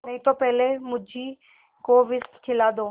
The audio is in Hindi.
नहीं तो पहले मुझी को विष खिला दो